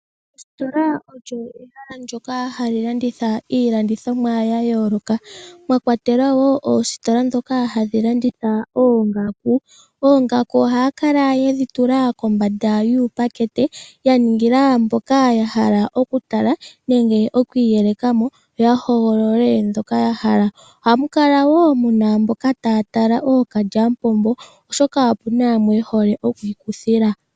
Ndjoka olyo ehala ndjoka hali landitha iilandithomwa ya yooloka mwa kwatelwa wo oositola dhika hadhi landitha oongaku oongaku ohaya kala yedhi tula kombanda yuupakete ya ningila mboka ya hala oku taka nenge okwiiyelekamo yo ya hogolole dhoka ya hala ohamu kala wo muna mboka taa tala okalyamupombo oshoka opena yamwe mboka ye hole okwiikuthila.